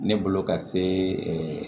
Ne bolo ka se